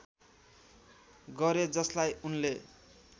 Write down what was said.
गरे जसलाई उनले